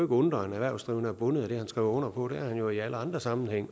undre at en erhvervsdrivende er bundet af det han skriver under på det er han jo også i alle andre sammenhænge